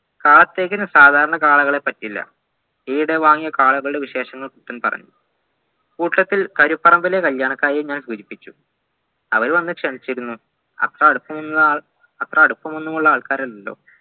കാത്തകൻ സാധരണ കാളകളെ പറ്റില്ല ഈയിടെവാങ്ങിയ കാളകളുടെ വിശേഷങ്ങൾ കുട്ടൻ പറഞ്ഞു കൂട്ടത്തിൽ കരുപ്പറമ്പിലെ കല്യാണക്കാര്യം ഞാൻ സൂചിപ്പിച്ചു അവരും എന്നെ ക്ഷേണിച്ചിരുന്നു അത്രയടുപ്പമുള്ള അത്രയടുപ്പമുളള ആൾക്കാരൊന്നുമല്ലല്ലോ